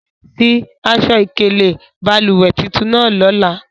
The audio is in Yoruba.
Fi aṣọ̀-ikele balùwẹ̀̀ titun nàà lọlà!